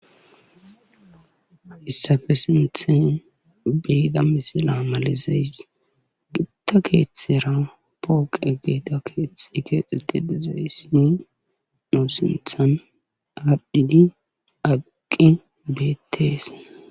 haysafes sinthan biida misila malizeys gitta keethetera pooqe geeta keeththe keexetti dezayssni doo sinthan ardhini aqi beettees